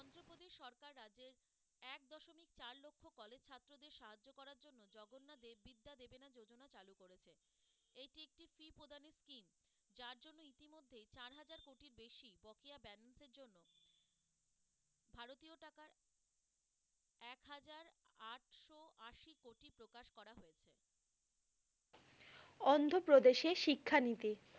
অন্ধপ্রদেশে শিক্ষা নিতে।